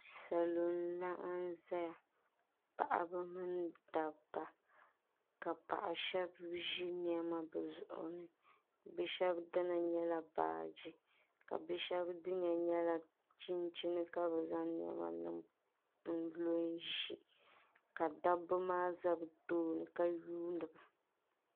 Salo n laɣim zaya paɣaba mini dabba ka paɣa shɛba zi nɛma bi zuɣu ni bi shɛba dina nyɛla baaji ka bi shɛba dina nyɛla chinchini ka bi zaŋ nɛma niŋ n lo n zi ka dabba maa za bi tooni ka yundi ba.